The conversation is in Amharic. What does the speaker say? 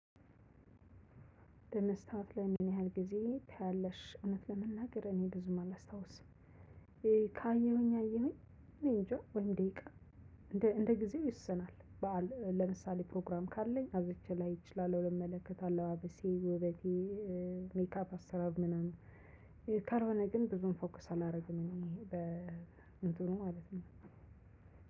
በመስተዎት ለይ? ምን ያህል ጊዜ ታያለሽ እውነት ለመናገር እኔ ብዙም አለስታውስም ከአየሁኝ አየሁኝ። እኔ እንጃ ወይም ደቂቃ እንደ እንደ ጊዜው ይወስናል። በዓል ለምሳሌ ፕሮግራም ካለኝ አብዝቼ ላይ እችላለሁ ልመለከት አለባበሴ ውበቴ። ሜካፕ አሰራር ምናምን ካልሆነ ግን ብዙም ፎከስ አላደርግም። እኔ በእንትኑ ማለት ነው።